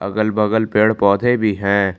अगल बगल पेड़ पौधे भी हैं।